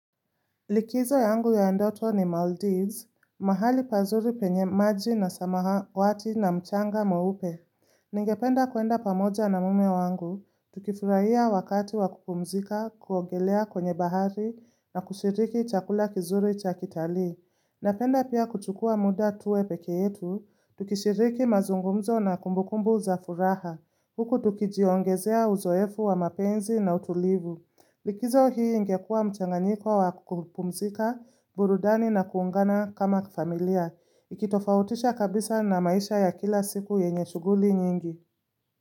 Likizo yangu ya ndoto ni Maldives, mahali pazuri penye maji na samahawati na mchanga mweupe. Ningependa ku enda pamoja na mama yangu, tukifurahia wakati wa kupumzika, kuongelea kwenye bahari na kushiriki chakula kizuri cha kitalii. Napenda pia kuchukua muda tuwe peke yetu, tukishiriki mazungumzo na kumbukumbu za furaha. Huku tukijiongezea uzoefu wa mapenzi na utulivu. Likizo hii ingekua mchanganyiko wa kupumzika, burudani na kuungana kama familia. Ikitofautisha kabisa na maisha ya kila siku yenye shuguli nyingi.